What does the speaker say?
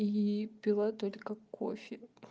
и пила только кофе